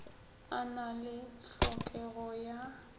a na le hlokego ya